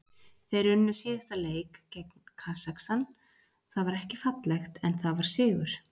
Þeir unnu síðasta leik gegn Kasakstan, það var ekki fallegt en það var sigur.